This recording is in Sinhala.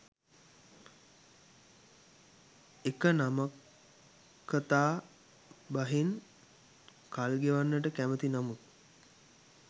එක නමක්කතා බහෙන් කල් ගෙවන්නට කැමති නමුත්